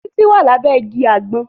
Títí wà lábé igi àgbọn